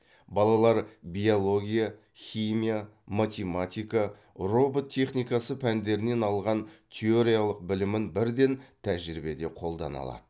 балалар биология химия математика робот техникасы пәндерінен алған теориялық білімін бірден тәжірибеде қолдана алады